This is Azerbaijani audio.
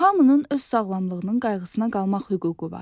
Hamının öz sağlamlığının qayğısına qalmaq hüququ var.